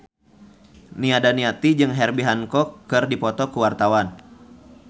Nia Daniati jeung Herbie Hancock keur dipoto ku wartawan